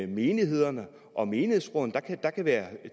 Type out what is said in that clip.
menighederne og menighedsrådene der kan være